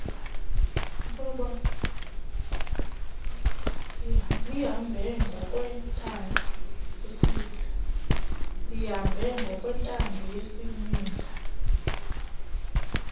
lihambe ngokwentando yesininzi